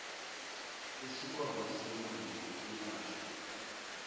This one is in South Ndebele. isikhwama semali yokwelatjhwa